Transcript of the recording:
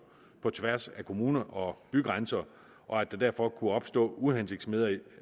på tværs af kommuner og bygrænser og at der derfor kunne opstå uhensigtsmæssigheder